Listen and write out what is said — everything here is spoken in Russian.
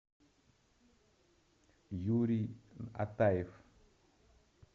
юрий атаев